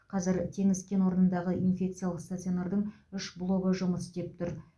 қазір теңіз кен орнындағы инфекциялық стационардың үш блогы жұмыс істеп тұр